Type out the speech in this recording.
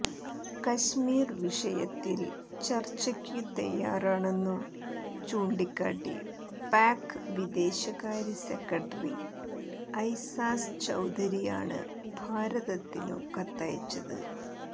കശ്മീർ വിഷയത്തിൽ ചർച്ചയ്ക്കു തയാറാണെന്നു ചൂണ്ടിക്കാട്ടി പാക്ക് വിദേശകാര്യ സെക്രട്ടറി ഐസാസ് ചൌധരിയാണ് ഭാരതത്തിനു കത്തയച്ചത്